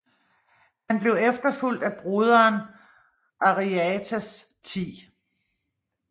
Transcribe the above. Han blev efterfulgt af broderen Ariarathes 10